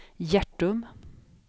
Hjärtum